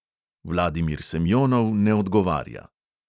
Vladimir semjonov ne odgovarja.